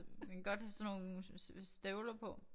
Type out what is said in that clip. Man kan godt have sådan nogle støvler på